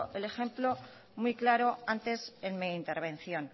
el ejemplo muy claro antes en mi intervención